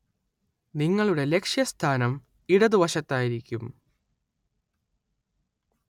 നിങ്ങളുടെ ലക്ഷ്യസ്ഥാനം ഇടതുവശത്തായിരിക്കും.